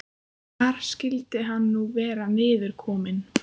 Hvar skyldi hann nú vera niðurkominn?